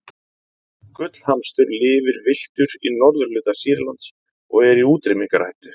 gullhamstur lifir villtur í norðurhluta sýrlands og er í útrýmingarhættu